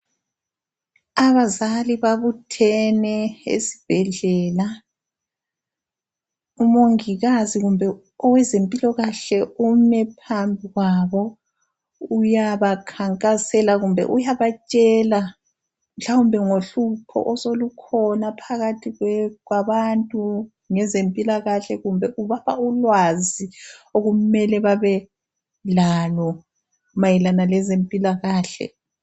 Abazali babuthene esibhedlela. Umongikazi kumbe owezempilokahle ume phambi kwabo, uyabakhankasela kumbe uyabatshela mhlawumbe ngohlupho osolukhona phakathi kwabantu ngezempilakahle, kumbe ubapha ulwazi okumele babe lalo mayelana lezempilakahle.